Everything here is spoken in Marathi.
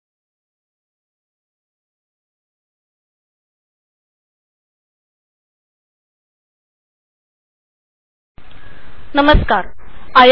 सीडीप आय